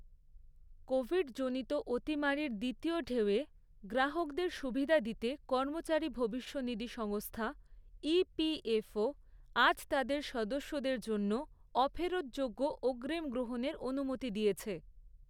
Covid জনিত অতিমারির দ্বিতীয় ঢেউয়ে, গ্রাহকদের সুবিধা দিতে কর্মচারী ভবিষ্যনিধি সংস্থা, ইপিএফও, আজ তাদের সদস্যদের জন্য অফেরৎযোগ্য অগ্রিম গ্রহণের অনুমতি দিয়েছে।